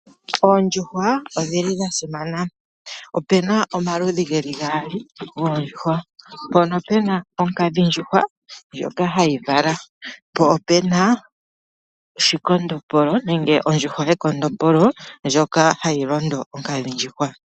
Oondjuhwa odhili dhasimana opena omaludhi geli gaali goondjuhwa. Mpono pena oonkadhindjuhwa ndjoka hayi vala, po opena shikondombolo nenge ondjuhwa yekondombolo ndjoka hayi londo onkadhindjuhwa.